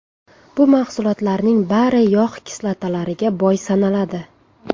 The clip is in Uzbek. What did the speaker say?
Bu mahsulotlarning bari yog‘ kislotalariga boy sanaladi.